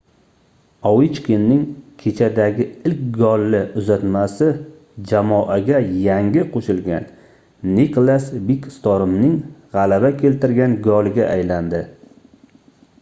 ovechkinning kechadagi ilk golli uzatmasi jamoaga yangi qoʻshilgan niklas bekstormning gʻalaba keltirgan goliga aylandi